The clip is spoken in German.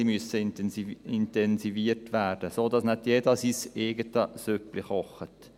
sie muss intensiviert werden, sodass nicht jeder sein eigenes Süppchen kocht.